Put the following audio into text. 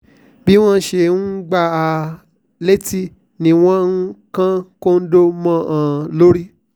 bí wọ́n ṣe ń gbá a létí ni wọ́n ń kan kóńdó mọ́ ọn lórí